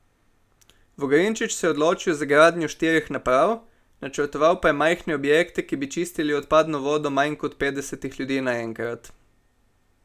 Vogrinčič se je odločil za gradnjo štirih naprav, načrtoval pa je majhne objekte, ki bi čistili odpadno vodo manj kot petdesetih ljudi naenkrat.